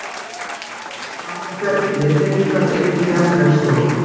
Sama ferli hindrar einnig jarðvegsrof.